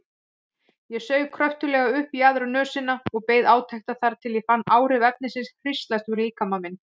Ég saug kröftuglega upp í aðra nösina og beið átekta þar til ég fann áhrif efnisins hríslast um líkama minn.